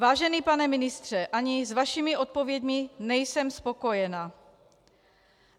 Vážený pane ministře, ani s vašimi odpověďmi nejsem spokojena.